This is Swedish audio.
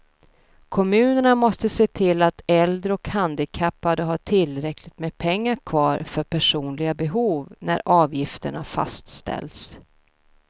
Kommunerna måste se till att äldre och handikappade har tillräckligt med pengar kvar för personliga behov när avgifterna fastställs.